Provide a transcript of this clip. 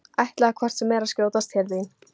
Ætlaði hvort sem er að skjótast til þín.